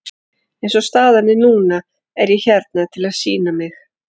Eins og staðan er núna er ég hérna til að sýna mig.